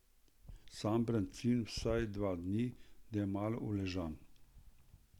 Sam brancin vsaj dva dni, da je malo uležan.